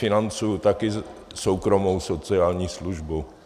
Financuji také soukromou sociální službu.